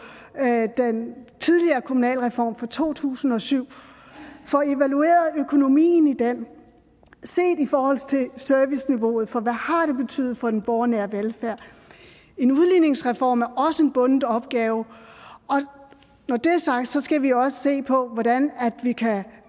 den tidligere kommunalreform fra to tusind og syv og får evalueret økonomien i den set i forhold til serviceniveauet for hvad har det betydet for den borgernære velfærd en udligningsreform er også en bunden opgave når det er sagt skal vi også se på hvordan vi kan